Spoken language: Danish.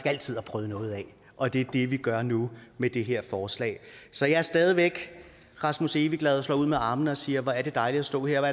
altid har prøvet noget af og det er det vi gør nu med det her forslag så jeg er stadig væk rasmus evigglad og slår ud med armene og siger hvor er det dejligt at stå her og